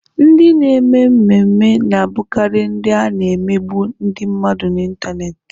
Ndị na-eme ememme na-abụkarị ndị a na-emegbu ndị mmadụ n'Ịntanet.